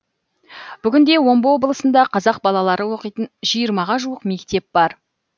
бүгінде омбы облысында қазақ балалары оқитын жиырмаға жуық мектеп бар